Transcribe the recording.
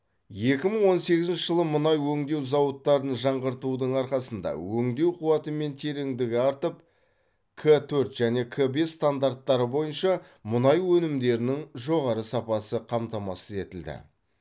екі мың он сегізінші жылы мұнай өңдеу зауыттарын жаңғыртудың арқасында өңдеу қуаты мен тереңдігі артып к төрт және к бес стандарттары бойынша мұнай өнімдерінің жоғары сапасы қамтамасыз етілді